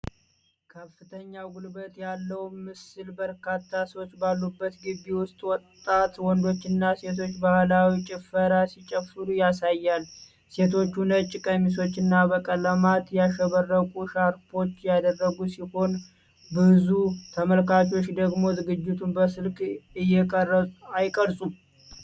ከፍተኛ ጉልበት ያለው ምስል በርካታ ሰዎች ባሉበት ግቢ ውስጥ ወጣት ወንዶችና ሴቶች ባህላዊ ጭፈራ ሲጨፍሩ ያሳያል። ሴቶቹ ነጭ ቀሚሶችና በቀለማት ያሸበረቁ ሻርፖች ያደረጉ ሲሆን፣ ብዙ ተመልካቾች ደግሞ ዝግጅቱን በስልክ አይቀርጹም?